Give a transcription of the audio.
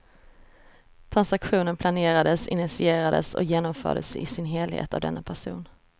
Transaktionen planerades, initierades och genomfördes i sin helhet av denne person.